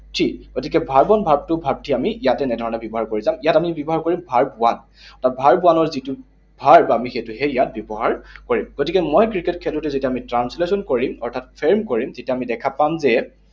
Three, গতিকে verb one, verb two, verb three আমি ইয়াত এনেধৰণেৰে ব্যৱহাৰ কৰি যাম। ইয়াত আমি ব্যৱহাৰ কৰিম verb one, আৰু verb one ৰ যিটো verb, আমি সেইটোহে ইয়াত ব্যৱহাৰ কৰিম। গতিকে মই ক্ৰিকেট খেলোটো যেতিয়া আমি translation কৰিম, অৰ্থাৎ frame কৰিম, তেতিয়া আমি দেখা পাম যে